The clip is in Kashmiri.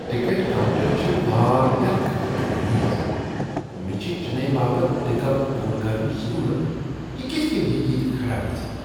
ٹکٹ کاؤنٹر چھ واریاہ گندہ تہٕ غلیظ۔ مےٚ چھ چنئی باپتھ ٹکٹ بک کرنٕچ ضروٗرت، بہٕ کتھ کٔنۍ ہؠکہٕ ییٚتہ کھڑا گژھتھ؟